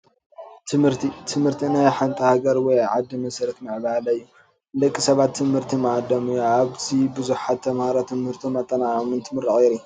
ትምህርቲ፡- ትምህርቲ ናይ ሓንቲ ሃገር ወይ ዓዲ መሰረት ምዕባለ እዩ፡፡ ንደቂ ሰባት ትምህርቲ ማኣዶም እዩ፡፡ ኣብዚ ብዙሓት ተምሃሮ ትምህቶም ኣጠናቒቖም እንትምረቑ የርኢ፡፡